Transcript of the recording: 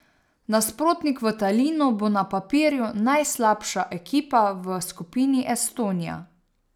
Nasprotnik v Talinu bo na papirju najslabša ekipa v skupini Estonija.